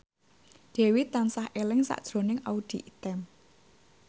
Dewi tansah eling sakjroning Audy Item